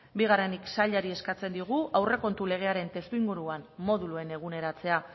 bigarrenik sailari eskatzen diogu aurrekontu legearen testuinguruan moduluen eguneratzea